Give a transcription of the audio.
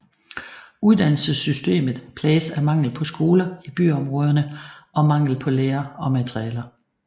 Uddannelsessystemet plages af mangel på skoler i byområderne og mangel på lærere og materialer